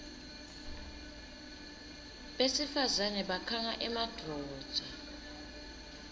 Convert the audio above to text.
besifazane bakhanga emadvodza